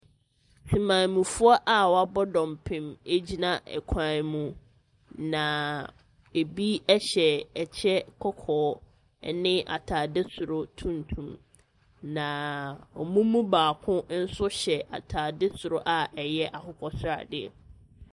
Temanmufoɔ a wabɔ dɔmpem egyina ɛkwan mu, na ebi ɛhyɛ ɛkyɛ kɔkɔɔ ɛne ataade soro tuntum. Na ɔmo mu baako nso hyɛ ataade soro a ɛyɛ akokɔ sradeɛ.